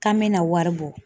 K'an me na wari bɔ.